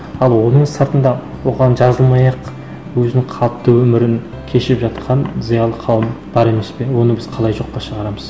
ал оның сыртында оған жазылмай ақ өзінің қалыпты өмірін кешіп жатқан зиялы қауым бар емес пе оны біз қалай жоққа шығарамыз